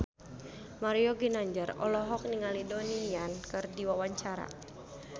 Mario Ginanjar olohok ningali Donnie Yan keur diwawancara